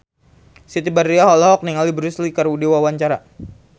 Siti Badriah olohok ningali Bruce Lee keur diwawancara